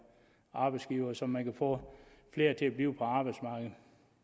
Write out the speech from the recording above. og arbejdsgivere så man kan få flere til at blive på arbejdsmarkedet